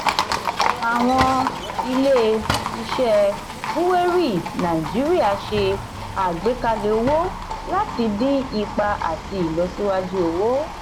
àwọn ilé-iṣẹ́ búwérì nàìjíríà ṣe àgbékalẹ̀ owó láti dín ipa àti ìlọsíwájú owó.